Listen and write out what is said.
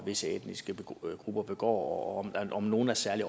visse etniske grupper begår og om nogle er særlig